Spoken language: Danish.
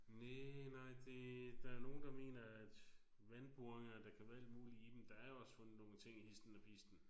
Næ nej det der er nogle der mener at vandboringer der kan være alt muligt i dem der er også fundet nogle ting histen og pisten